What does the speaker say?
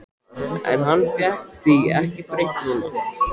En hann fékk því ekki breytt núna.